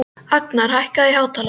Agnar, hækkaðu í hátalaranum.